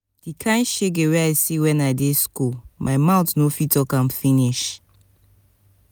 di kain shege wey i see wen i dey skool my mout no fit talk am finish.